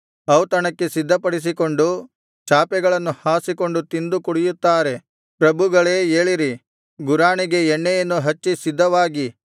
ಔತಣಕ್ಕೆ ಸಿದ್ಧಪಡಿಸಿಕೊಂಡು ಚಾಪೆಗಳನ್ನು ಹಾಸಿಕೊಂಡು ತಿಂದು ಕುಡಿಯುತ್ತಾರೆ ಪ್ರಭುಗಳೇ ಏಳಿರಿ ಗುರಾಣಿಗೆ ಎಣ್ಣೆಯನ್ನು ಹಚ್ಚಿ ಸಿದ್ಧವಾಗಿ